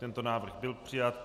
Tento návrh byl přijat.